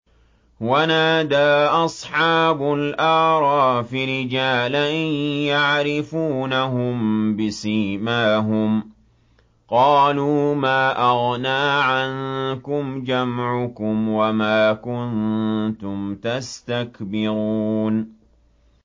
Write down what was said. وَنَادَىٰ أَصْحَابُ الْأَعْرَافِ رِجَالًا يَعْرِفُونَهُم بِسِيمَاهُمْ قَالُوا مَا أَغْنَىٰ عَنكُمْ جَمْعُكُمْ وَمَا كُنتُمْ تَسْتَكْبِرُونَ